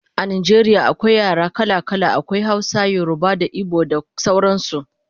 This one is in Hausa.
A Najeriya akwai yare kala kala, akwai Hausa, yoruba da igbo da sauran su